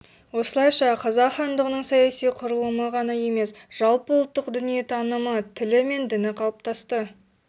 осылайша қазақ хандығының саяси құрылымы ғана емес жалпыұлттық дүниетанымы тілі мен діні қалыптасты